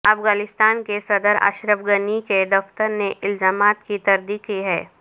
افغانستان کے صدر اشرف غنی کے دفتر نے الزامات کی تردید کی ہے